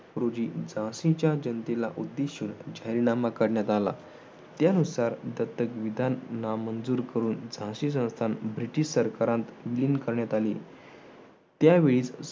रोजी झाशीच्या जनतेला उद्देशून जाहीरनामा करण्यात आला. त्यानुसार दत्तक विधान नामंजूर करून झाशी संस्थान ब्रिटिश सरकारात लीन करण्यात आली. त्यावेळी